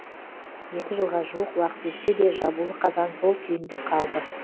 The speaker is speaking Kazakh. екі жылға жуық уақыт өтсе де жабулы қазан сол күйінде қалды